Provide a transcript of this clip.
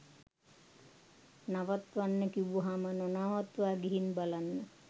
නවත්තන්න කිව්වම නොනවත්වා ගිහින් බලන්න.